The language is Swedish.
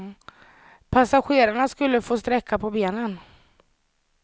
Passagerarna skulle få sträcka på benen.